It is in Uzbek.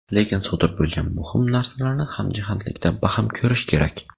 Lekin sodir bo‘lgan muhim narsalarni hamjihatlikda baham ko‘rish kerak.